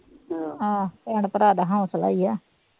ਹਮ ਆਹੋ ਭੈਣ ਭਰਾ ਦਾ ਹੋਂਸਲਾ ਹੀ ਆ